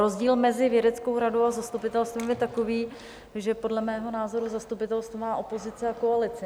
Rozdíl mezi vědeckou radou a zastupitelstvem je takový, že podle mého názoru zastupitelstvo má opozici a koalici.